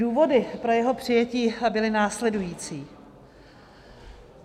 Důvody pro jeho přijetí byly následující.